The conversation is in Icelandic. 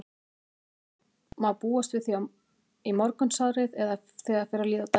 Má búast við því þá í morgunsárið eða þegar fer að líða á daginn?